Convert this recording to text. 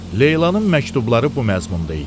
Leylanın məktubları bu məzmunda idi: